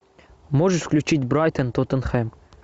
можешь включить брайтон тоттенхэм